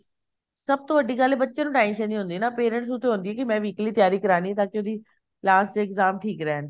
ਸਭ ਤੋਂ ਵੱਡੀ ਗੱਲ ਐ ਬੱਚੇ ਨੂੰ tension ਨੀ ਹੁੰਦੀ ਨਾ parents ਨੂੰ ਤਾਂ ਹੁੰਦੀ ਐ ਕੀ ਮੈੰ weekly ਤਿਆਰੀ ਕਰਵਾਨੀ ਐ ਤਾਂਕੀ ਉਹਦੀ last ਤੇ exam ਠੀਕ ਰਹਿਣ